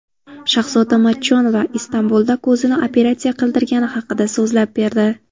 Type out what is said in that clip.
Shahzoda Matchonova Istanbulda ko‘zini operatsiya qildirgani haqida so‘zlab berdi.